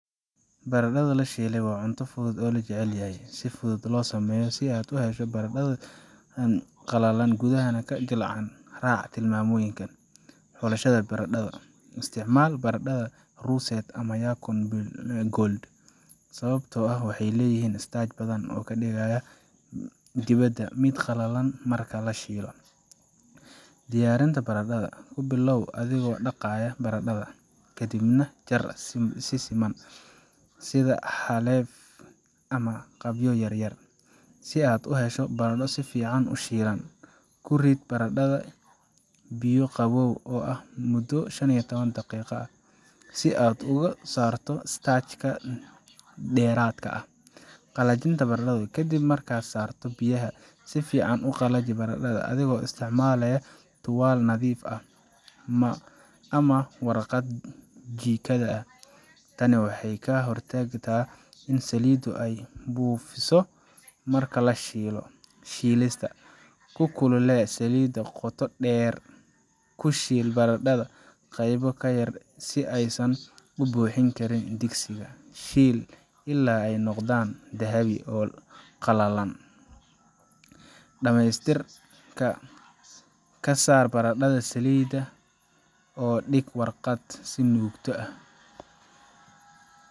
Baradhada la shiilay waa cunto fudud oo la jecel yahay, si fududna loo sameeyo. Si aad u hesho baradho qallalan oo gudaha jilicsan, raac tilmaamahan: Xulashada Baradhada: Isticmaal baradhada Russet ama Yukon Gold, sababtoo ah waxay leeyihiin starch badan oo ka dhigaya dibadda mid qallalan marka la shiilo. Diyaarinta Baradhada: Ku bilow adigoo dhaqaya baradhada, ka dibna jar si siman, sida xaleef ama qaybo yaryar. Si aad u hesho baradho si fiican u shiilan, ku rid baradhada biyo qabow ah muddo shan iyo toban daqiiqo ah si aad uga saarto starch ka dheeraadka ah. Qallajinta Baradhada: Ka dib markaad ka saarto biyaha, si fiican u qalaji baradhada adigoo isticmaalaya tuwaal nadiif ah ama warqad jikada ah. Tani waxay ka hortagtaa in saliiddu ay buufiso marka la shiilayo. Shiilista: Ku kululee saliidda qoto dheer Ku shiil baradhada qaybo yar yar si aysan u buuxin karin digsiga. Shiil ilaa ay ka noqdaan dahabi ah oo qallalan, Dhamaystirka: Ka saar baradhada saliidda oo dhig warqad si ay u nuugto ah.